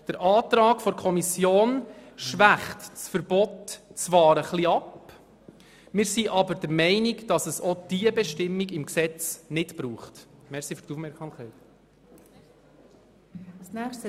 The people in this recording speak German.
Der Antrag der Kommission schwächt das Verbot zwar etwas ab, aber diese Bestimmung braucht es im Gesetz nicht.